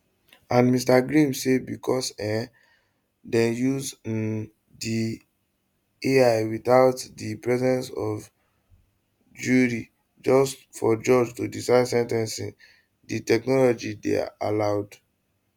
and mr grimm say becos um dem use um di ai witout di presence of jury just for judge to decide sen ten cing di technology dey allowed